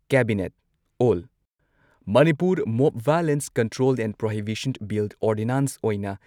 cabinet all Manipur mob violence control and prohibition bill, ordinance ꯑꯣꯏꯅ